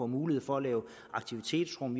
mulighed for at lave aktivitetsrum